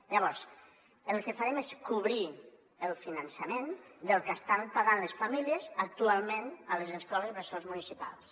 llavors el que farem és cobrir el finançament del que estan pagant les famílies actualment a les escoles bressol municipals